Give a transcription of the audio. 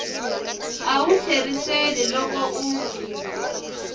a wu tlheriseli loko u